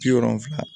Bi wolonfila